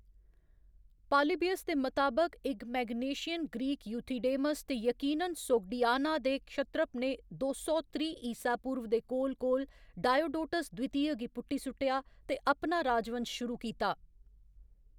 Polybius दे मताबक इक मैग्नेशियन ग्रीक यूथिडेमस ते यकीनन सोग्डियाना दे क्षत्रप ने दो सौ त्रीह्‌ ईसा पूर्व दे कोल कोल डायोडोटस द्वितीय गी पुट्टी सुट्टेआ ते अपना राजवंश शुरू कीता।